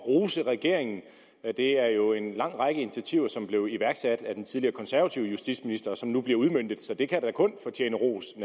rose regeringen det er jo en lang række initiativer som blev iværksat af den tidligere konservative justitsminister som nu bliver udmøntet så det kan da naturligvis kun fortjene ros og